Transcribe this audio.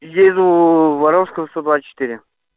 еду воровского сто двадцать четыре